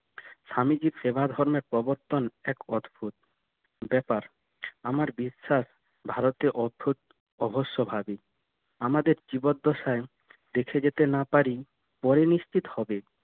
স্বামীজি ফেবার হন্যের প্রবর্তন এক অদ্ভুদ ব্যাপার আমার বিশ্বাস ভারতে অবশ্যভাবি আমাদের জীবনদ্দশায় দেখে যেতে না পারি পরে নিশ্চিত হবে